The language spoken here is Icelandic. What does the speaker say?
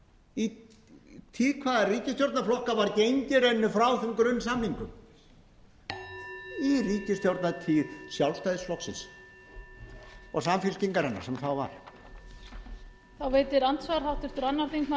í tíð hvaða ríkisstjórnarflokka var gengið í rauninni frá þeim grunnsamningum í ríkisstjórnartíð sjálfstæðisflokksins og samfylkingarinnar sem þá var